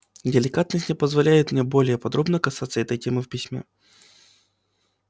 деликатность не позволяет мне более подробно касаться этой темы в письме